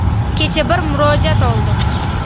Kecha bir murojaat oldim.